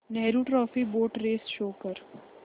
Nehru trophy boat race show कर